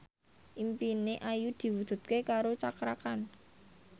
impine Ayu diwujudke karo Cakra Khan